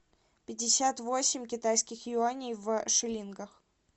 пятьдесят восемь китайских юаней в шиллингах